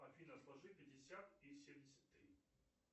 афина сложи пятьдесят и семьдесят три